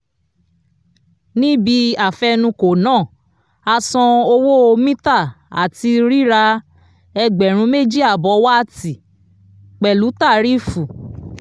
ní ibí afenukò náà a san owó mítà àti rírà ẹgbẹ̀rún méjì àbọ̀ wáátì pẹ̀lú tarífù